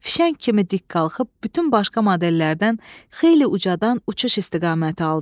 Fişəng kimi dik qalxıb bütün başqa modellərdən xeyli ucadan uçuş istiqaməti aldı.